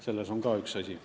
See on ka üks asi.